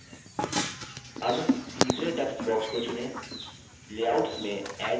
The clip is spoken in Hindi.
add तीसरे text box को चुनें layouts में add पर click करें